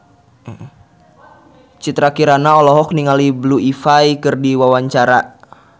Citra Kirana olohok ningali Blue Ivy keur diwawancara